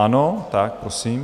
Ano, tak prosím.